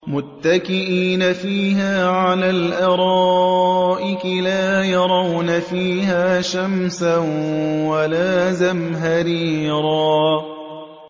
مُّتَّكِئِينَ فِيهَا عَلَى الْأَرَائِكِ ۖ لَا يَرَوْنَ فِيهَا شَمْسًا وَلَا زَمْهَرِيرًا